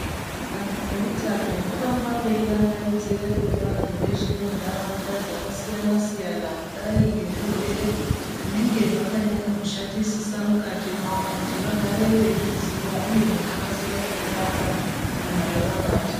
Vantu veutano voramba veirangaridze kune vantu veshe ve muntaraunda dzakasiyana siyana kudai ngezvirwere zvinenge zvakanyanya kushatisisa mukati mwawo kuti vagare veyi zviziva uye nekukasira kuzvirapwa kana zvava bata.